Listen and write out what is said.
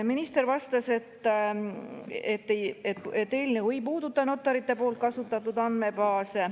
Minister vastas, et eelnõu ei puuduta notarite poolt kasutatud andmebaase.